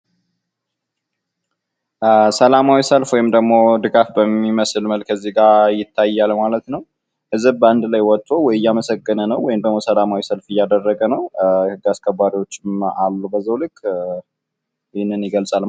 ሰላማዊ ሰልፍ ወይም ደሞ ድጋፍ በሚመስል መልከ ከዚህ ጋ ይታያል ማለት ነው። ህዝብ በአንድ ላይ ወጦ እያመሰገነ ነው ወይም ሰላማዊ ሰልፍ እያደረገ ነው ህግ አስከባሪዎች አሉ በዛው ልክ ይህንን ይገልጻል